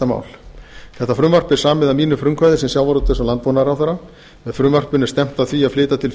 frumvarpið er samið að mínu frumkvæði sem sjávarútvegs og landbúnaðarráðherra með frumvarpinu er stefnt að því að flytja til